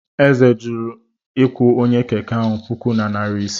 Eze jụrụ ịkwụ onye Keke otu puku na narị ise.